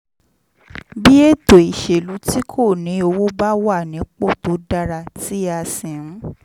bí ètò ìṣèlú tí kò ní owó bá wà nípò tó dára tí a sì ń